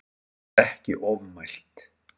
Þar var ekki ofmælt